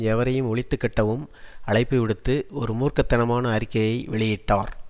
எவரையும் ஒழித்து கட்டவும் அழைப்புவிடுத்து ஒரு மூர்க்க தனமான அறிக்கையை வெளியிட்டார்